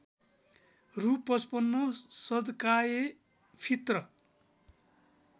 रु ५५ सद्काएफित्र